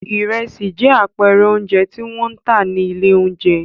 Ìrẹsì jẹ́ àpẹẹrẹ oúnjẹ tí wọ́n ń tà ní ilé-oúnjẹ.